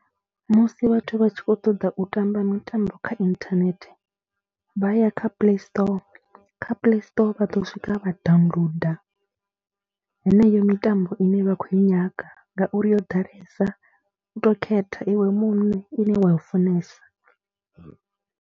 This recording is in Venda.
Musi vhathu vha tshi khou ṱoḓa u tamba mitambo kha inthanethe vha ya kha Paystore, kha Playstore vha ḓo swika vha downloader heneyo mitambo ine vha khou i nyaga ngauri yo ḓalesa, u tou khetha iwe muṋe ine wa i funesa.